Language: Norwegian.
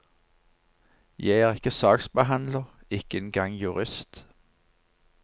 Jeg er ikke saksbehandler, ikke en gang jurist.